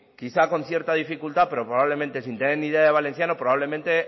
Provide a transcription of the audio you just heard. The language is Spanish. quizá con cierta dificultad pero probablemente sin tener ni idea de valenciano probablemente